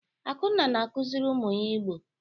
Akunna na-akụziri ụmụ ya Igbo.